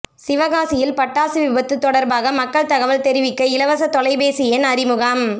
சிவகாசியில் பட்டாசு விபத்து தொடர்பாக மக்கள் தகவல் தெரிவிக்க இலவச தொலைபேசி எண் அறிமுகம்